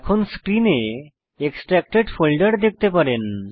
এখন স্ক্রিনে এক্সট্রাক্টেড ফোল্ডের দেখতে পারেন